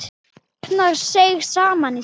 Ragnar seig saman í sætinu.